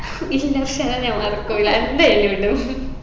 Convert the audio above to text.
ഇല്ല അർഷാന ഞാൻ മറക്കൂല എന്തായാലും ഇടും